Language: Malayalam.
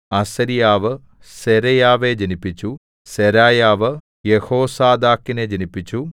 അസര്യാവ് സെരായാവെ ജനിപ്പിച്ചു സെരായാവ് യെഹോസാദാക്കിനെ ജനിപ്പിച്ചു